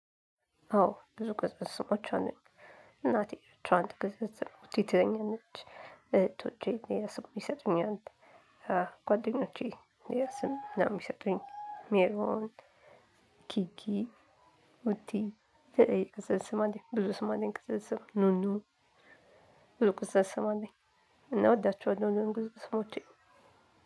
አዎ ብዙ ቅጽል ስሞች አሉ። እናቴ ትራንት ገንዘብ ስሞች የተኛነች እህቶቼ የሰሙ የሰጡኝ አለ። ጓደኞቼ የሰሙ የሰጡኝ ሜሮን ኪኪ ውቲ ተየክሰስማት ብዙ ስማት ቅጽል ስም ኑኑ። ብሎ ቅጽል ስም አለኝ። እና እወዳቸዋለሁ ቅጽል ስሞቼ።